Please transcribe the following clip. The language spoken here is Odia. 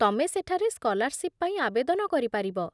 ତମେ ସେଠାରେ ସ୍କଲାର୍ସିପ ପାଇଁ ଆବେଦନ କରିପାରିବ